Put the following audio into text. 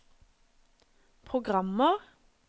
programmer